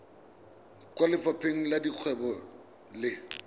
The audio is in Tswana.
kwa lefapheng la dikgwebo le